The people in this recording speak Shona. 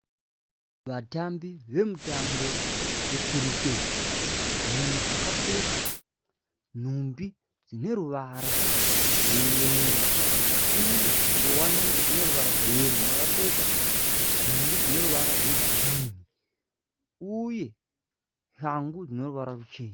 Vatambi vemutambo we kiriketi. Mumwe akapfeka nhumbi dzine ruwara rwe yero uye ngowani ine ruwara rwe yero. Umwe akapfeka nhumbi dzine ruwara rwe girini uye shangu dzine ruwara ruchena.